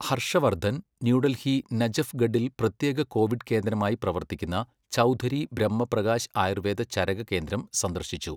Harsh Vardhan New Delhi നജഫ് ഗഡിൽ പ്രത്യേക കോവിഡ് കേന്ദ്രമായി പ്രവർത്തിക്കുന്ന ചൗധരി ബ്രഹ്മപ്രകാശ് ആയൂർവ്വേദ ചരക കേന്ദ്രം സന്ദർശിച്ചു.